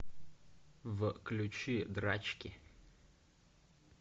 включи драчки